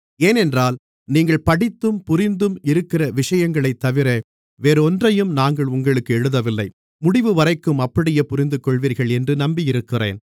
ஏனென்றால் நீங்கள் படித்தும் புரிந்தும் இருக்கிற விஷயங்களைத்தவிர வேறொன்றையும் நாங்கள் உங்களுக்கு எழுதவில்லை முடிவுவரைக்கும் அப்படியே புரிந்துகொள்வீர்கள் என்று நம்பியிருக்கிறேன்